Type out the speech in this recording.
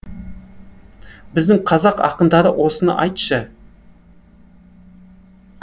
біздің қазақ ақындарына осыны айтшы